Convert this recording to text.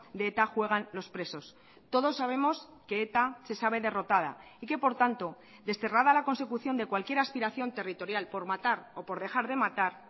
de eta juegan los presos todos sabemos que eta se sabe derrotada y que por tanto desterrada la consecución de cualquier aspiración territorial por matar o por dejar de matar